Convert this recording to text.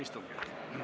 Istungi lõpp kell 10.04.